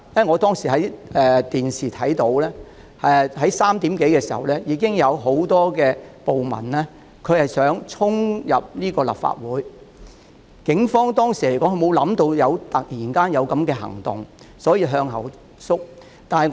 我當時從電視畫面看到 ，3 時多已有很多暴民企圖衝入立法會，警方當時沒有預計這突然的行動，所以向後退。